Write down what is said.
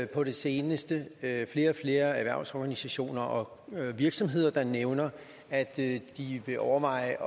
på det seneste flere og flere erhvervsorganisationer og virksomheder der nævner at de vil overveje